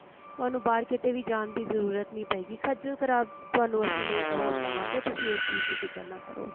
ਤੁਹਾਨੂੰ ਬਾਹਰ ਕਿਤੇ ਵੀ ਜਾਣ ਦੀ ਜ਼ਰੂਰਤ ਨਹੀਂ ਪਏਗੀ ਖੱਜ਼ਲ ਖਰਾਬ ਤੁਹਾਨੂੰ ਅਸੀਂ ਨਹੀਂ ਹੋਣ ਦਵਾਂਗੇ ਤੁਸੀਂ ਇਸ ਚੀਜ਼ ਦੀ ਫਿਕਰ ਨਾ ਕਰੋ